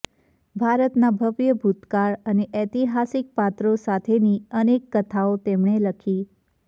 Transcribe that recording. ભારતના ભવ્ય ભૂતકાળ અને ઐતિહાસિક પાત્રો સાથેની અનેક કથાઓ તેમણે લખી